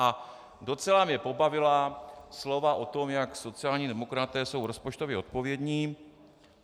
A docela mě pobavila slova o tom, jak sociální demokraté jsou rozpočtově odpovědní.